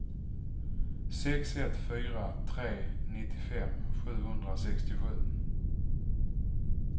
sex ett fyra tre nittiofem sjuhundrasextiosju